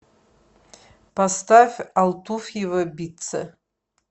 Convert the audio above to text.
поставь алтуфьево битца